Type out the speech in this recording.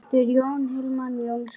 eftir Jón Hilmar Jónsson